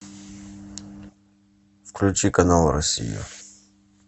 включи канал россия